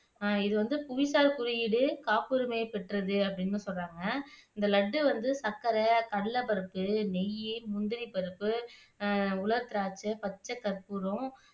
இது வந்து புவிசார் குறியீடு காப்புரிமையை பெற்றது அப்படின்னு சொல்றாங்க இந்த லட்டு வந்து சர்க்கரை, கடலைபருப்பு, நெய், முந்திரிப்பருப்பு, அஹ் உலர் திராட்சை, பச்சை கற்ப்பூரம்